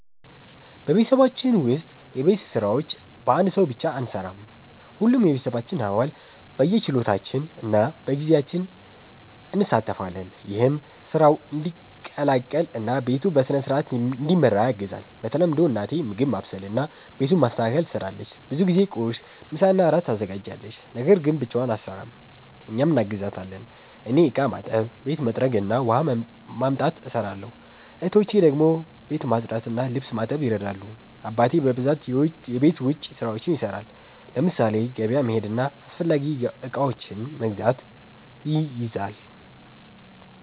በቤተሰባችን ውስጥ የቤት ስራዎች በአንድ ሰው ብቻ አንሠራም። ሁሉም የቤተሰባችን አባል በየችሎታችን እና በጊዜያችን እንሣተፋለን። ይህም ስራው እንዲቀላቀል እና ቤቱ በሥርዓት እንዲመራ ያግዛል። በተለምዶ እናቴ ምግብ ማብሰልና ቤቱን ማስተካከል ትሰራለች። ብዙ ጊዜ ቁርስ፣ ምሳና እራት ታዘጋጃለች። ነገር ግን ብቻዋን አትሰራም፤ እኛም እናግዛታለን። እኔ እቃ ማጠብ፣ ቤት መጥረግ እና ውሃ ማምጣት እሰራለሁ። እህቶቼ ደግሞ ቤት ማጽዳትና ልብስ ማጠብ ይረዳሉ። አባቴ በብዛት የቤት ውጭ ስራዎችን ይሰራል፤ ለምሳሌ ገበያ መሄድና አስፈላጊ እቃዎችን መግዛት ይይዛል።